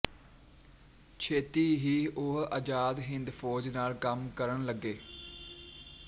ਛੇਤੀ ਹੀ ਉਹ ਅਜ਼ਾਦ ਹਿੰਦ ਫੌਜ ਨਾਲ ਕੰਮ ਕਰਨ ਲੱਗੇ